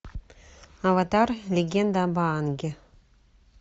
аватар легенда об аанге